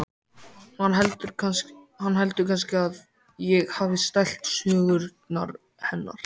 Hann heldur kannski að ég hafi stælt sögurnar hennar.